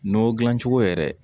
N'o dilan cogo yɛrɛ